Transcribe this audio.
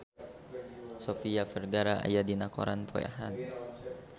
Sofia Vergara aya dina koran poe Ahad